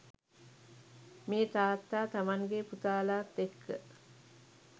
මේ තාත්තා තමන්ගේ පුතාලාත් එක්ක